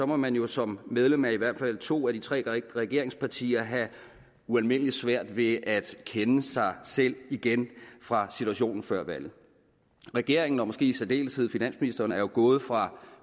må man jo som medlem af i hvert fald to af de tre regeringspartier havde ualmindelig svært ved at kende sig selv igen fra situationen før valget regeringen og måske i særdeleshed finansministeren er jo gået fra